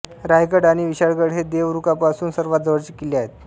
रायगड आणि विशाळगड हे देवरुखपासून सर्वात जवळचे किल्ले आहेत